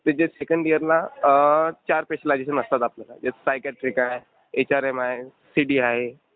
त्याच्या सेकंड इयरला अं चार स्पेशलायझेशन असतात आपल्याला. एक सायक्याट्रिक आहे, एचआरएम आहे, सिडी आहे.